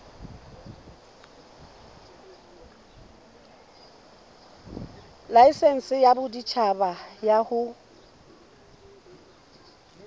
laesense ya boditjhaba ya ho